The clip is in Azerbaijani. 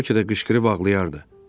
Bəlkə də qışqırıb ağlayardı.